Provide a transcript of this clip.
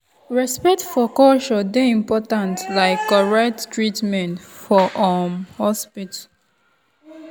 respect for culture dey important like correct treatment for um hospital.